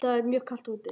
Í dag er mjög kalt úti.